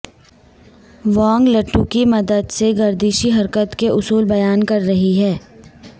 وانگ لٹو کی مدد سے گردشی حرکت کے اصول بیان کر رہی ہیں